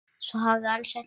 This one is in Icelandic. Svo hafi alls ekki verið.